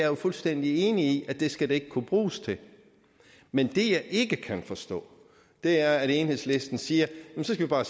jo fuldstændig enig i at det ikke skal kunne bruges til men det jeg ikke kan forstå er at enhedslisten siger at vi så bare